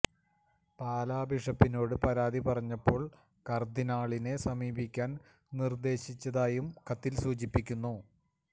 പാലാ ബിഷപ്പിനോട് പരാതി പറഞ്ഞപ്പോള് കര്ദിനാളിനെ സമീപിക്കാന് നിര്ദേശിച്ചതായും കത്തില് സൂചിപ്പിക്കുന്നു